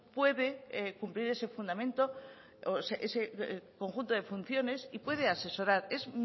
puede cumplir ese fundamento ese conjunto de funciones y puede asesorar es